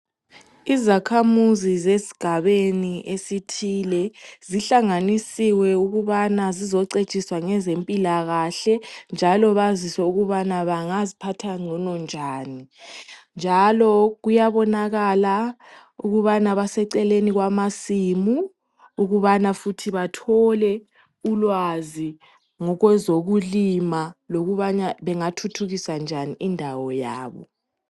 Izakhamuzi zesigabeni esithile zihlanganisiwe ukubana zizocetshiswa ngezempilakahle njalo baziswe ukubana bangaziphatha ngcono njani njalo kuyabonakala ukubana baseceleni kwamasimu ukubana futhi bathole ulwazi ngokwezokulima lokubana bengathuthukisa njani indawo yabo.